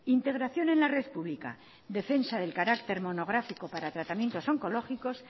integración en la red pública defensa del carácter monográfico para tratamiento oncológicos